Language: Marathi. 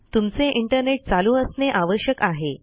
तुमचे इंटरनेट चालू असणे आवश्यक आहे